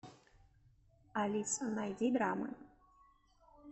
алиса найди драмы